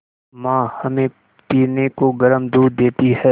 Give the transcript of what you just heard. माँ हमें पीने को गर्म दूध देती हैं